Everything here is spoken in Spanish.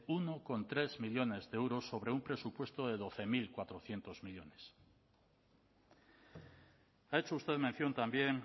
uno coma tres millónes de euros sobre un presupuesto de doce mil cuatrocientos millónes ha hecho usted mención también